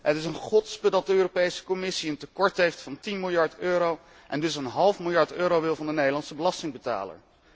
Het is een gotspe dat de Europese Commissie een tekort heeft van 10 miljard euro en dus een half miljard euro wil van de Nederlandse belastingbetaler.